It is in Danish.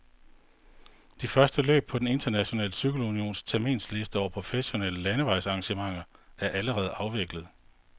De første løb på den internationale cykelunions terminsliste over professionelle landevejsarrangementer er allerede afviklet.